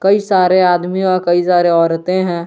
कई सारे आदमी और कई सारे औरतें हैं।